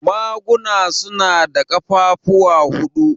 Maguna su na da ƙafafuwa huɗu.